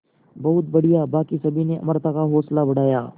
बहुत बढ़िया बाकी सभी ने अमृता का हौसला बढ़ाया